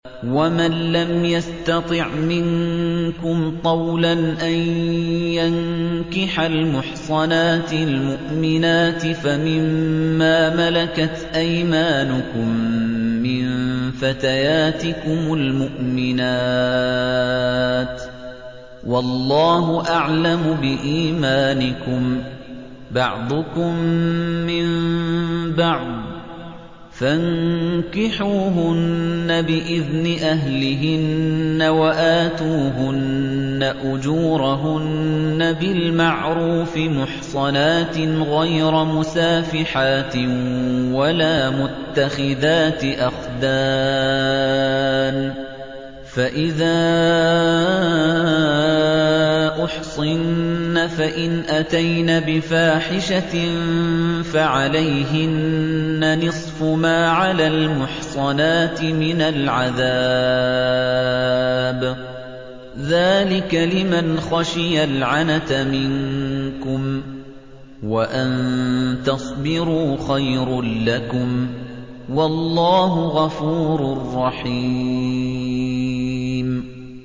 وَمَن لَّمْ يَسْتَطِعْ مِنكُمْ طَوْلًا أَن يَنكِحَ الْمُحْصَنَاتِ الْمُؤْمِنَاتِ فَمِن مَّا مَلَكَتْ أَيْمَانُكُم مِّن فَتَيَاتِكُمُ الْمُؤْمِنَاتِ ۚ وَاللَّهُ أَعْلَمُ بِإِيمَانِكُم ۚ بَعْضُكُم مِّن بَعْضٍ ۚ فَانكِحُوهُنَّ بِإِذْنِ أَهْلِهِنَّ وَآتُوهُنَّ أُجُورَهُنَّ بِالْمَعْرُوفِ مُحْصَنَاتٍ غَيْرَ مُسَافِحَاتٍ وَلَا مُتَّخِذَاتِ أَخْدَانٍ ۚ فَإِذَا أُحْصِنَّ فَإِنْ أَتَيْنَ بِفَاحِشَةٍ فَعَلَيْهِنَّ نِصْفُ مَا عَلَى الْمُحْصَنَاتِ مِنَ الْعَذَابِ ۚ ذَٰلِكَ لِمَنْ خَشِيَ الْعَنَتَ مِنكُمْ ۚ وَأَن تَصْبِرُوا خَيْرٌ لَّكُمْ ۗ وَاللَّهُ غَفُورٌ رَّحِيمٌ